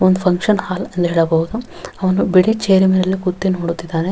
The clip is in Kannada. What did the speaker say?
ಒಂದು ಫುನ್ಕ್ಷನ್ ಹಾಲ್ ಎಂದು ಹೇಳಬಹುದು ಅವನು ಬಿಳಿ ಚೇರ್ ಮೇಲೆ ಕೂತು ನೋಡುತ್ತಿದ್ದಾನೆ.